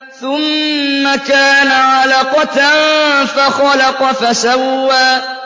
ثُمَّ كَانَ عَلَقَةً فَخَلَقَ فَسَوَّىٰ